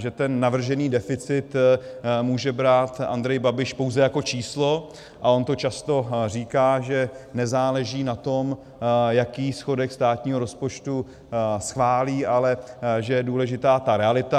Že ten navržený deficit může brát Andrej Babiš pouze jako číslo, a on to často říká, že nezáleží na tom, jaký schodek státního rozpočtu schválí, ale že je důležitá ta realita.